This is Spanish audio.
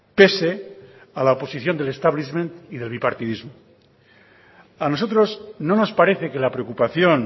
pese a la oposición del establishment y del bipartidismo a nosotros no nos parece que la preocupación